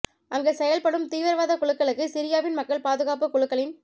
அங்கு செயல்படும் தீவிரவாத குழுக்களுக்கு சிரியாவின் மக்கள் பாதுகாப்பு குழுக்களின்